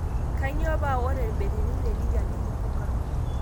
Kanyio paa ore betirini le Lithium nilipuka?